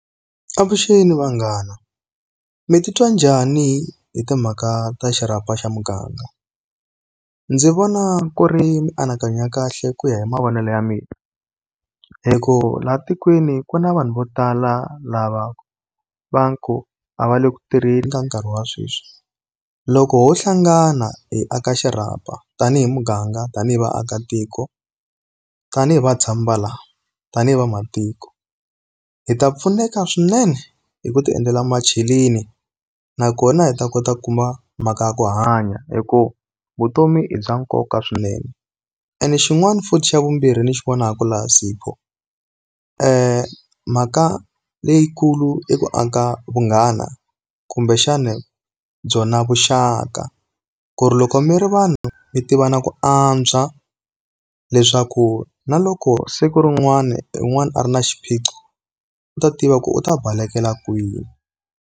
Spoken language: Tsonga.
Avuxeni vanghana. Mi ti twa njhani hi timhaka ta xirhapa xa muganga? Ndzi vona ku ri mianakanyo kahle ku ya hi mavonelo ya mina. Hikuva laha tikweni ku na vanhu vo tala lava ku va ku a va le ku tirheni ka nkarhi wa sweswi. Loko ho hlangana hi aka xirhapa, tanihi muganga, tanihi vaakatiko, tanihi vatshami va la, tanihi vamatiko. Hi ta pfuneka swinene hi ku ti endlela macheleni, na kona hi ta kota ku kuma mhaka ya ku hanya hikuva vutomi bya nkoka swinene. Ene xin'wana futhi xa vumbirhi ndzi xi vonaka laha Sipho, mhaka leyikulu i ku aka vunghana kumbexana byona vuxaka. Ku ri loko mi ri vanhu mi tivana ku antswa, leswaku na loko siku rin'wana na un'wana a ri na xiphiqo, u ta tiva ku u ta balekela kwihi.